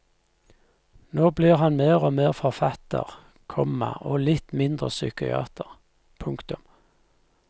Nå blir han mer og mer forfatter, komma og litt mindre psykiater. punktum